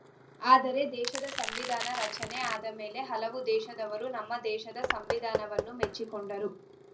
ಆದರೆ ದೇಶದ ಸಂವಿಧಾನ ರಚನೆ ಆದ ಮೇಲೆ ಹಲವು ದೇಶದವರು ನಮ್ಮ ದೇಶದ ಸಂವಿಧಾನವನ್ನು ಮೆಚ್ಚಿಕೊಂಡರು